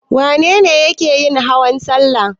Wane ne yake yin hawan salla?